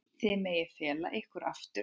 Þið megið fela ykkur aftur.